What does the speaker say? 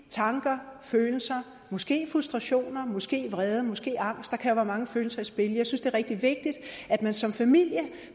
tanker og følelser måske frustrationer måske vrede og måske angst der kan jo være mange følelser i spil jeg synes det er rigtig vigtigt at man som familie